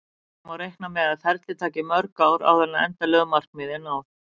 Síðan má reikna með að ferlið taki mörg ár áður en endanlegu markmiði er náð.